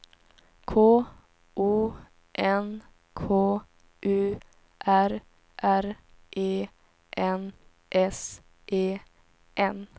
K O N K U R R E N S E N